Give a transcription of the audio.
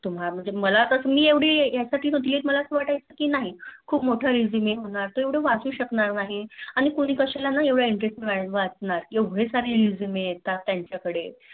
तुम्हा म्हणजे कस मी इवढी मला यासाठी म्हणतोय के मला असं वाटतायच कि नाही खप मोठा Resume होणार एवढं वाचू शकणार नाही. आणि कोणी कश्याला एवढ्या Intererst ने वाचणार एवढे सारे resume येतात त्यांच्या कडे